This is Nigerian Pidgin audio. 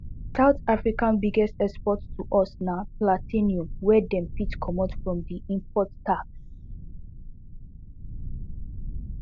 south africa biggest export to us na platinum wey dem fit comot from di import tax